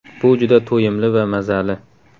Bu juda to‘yimli va mazali.